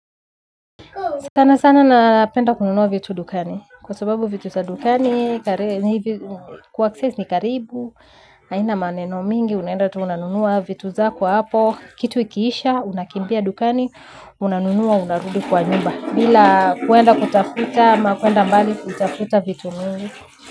Sana sana napenda kununua vitu dukani. Kwa sababu vitu za dukani, kuaccess ni karibu, haina maneno mingi, unaenda tu unanunua vitu zako hapo. Kitu ikiisha, unakimbia dukani, unanunua, unarudi kwa nyumba. Bila kuenda kutafuta, ama kuenda mbali kutafuta vitu mingi.